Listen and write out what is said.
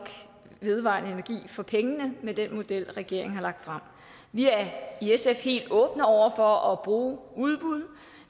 vedvarende energi for pengene med den model regeringen har lagt frem vi er i sf helt åbne over for at bruge udbud